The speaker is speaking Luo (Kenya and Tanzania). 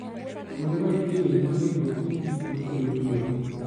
Kuonde ma nitie winy mang'eny ok ti gi gik makelo tuoche.